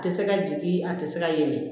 A tɛ se ka jigin a tɛ se ka yɛlɛ